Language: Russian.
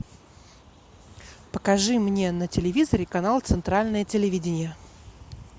покажи мне на телевизоре канал центральное телевидение